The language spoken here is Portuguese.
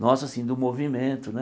Nosso, assim, do movimento, né?